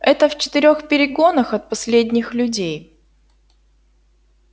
это в четырёх перегонах от последних людей